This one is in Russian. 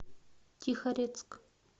тихорецк